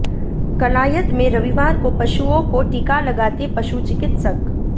कलायत में रविवार को पशुओं को टीका लगाते पशु चिकित्सक